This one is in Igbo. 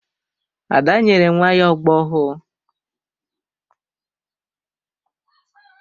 Ada nyere nwa ya ogbo ọhụụ.